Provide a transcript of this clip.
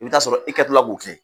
I bɛ t'a sɔrɔ i kɛ to la k'o kɛ,